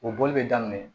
O boli bɛ daminɛ